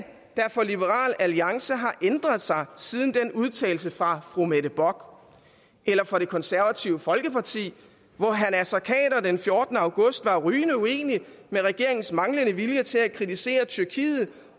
for liberal alliance har ændret sig siden den udtalelse fra fru mette bock eller for de konservative hvor herre naser khader den fjortende august var rygende uenig i regeringens manglende vilje til at kritisere tyrkiet